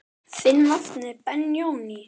Þinn nafni Benóný.